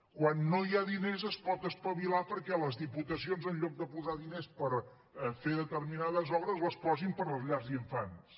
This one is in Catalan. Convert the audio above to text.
quan no hi ha diners es pot espavilar perquè les diputacions en lloc de posar diners per fer determinades obres els posin per a les llars d’infants